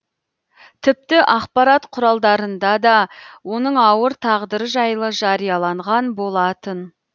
тіпті ақпарат құралдарында да оның ауыр тағдыры жайлы жарияланған болатын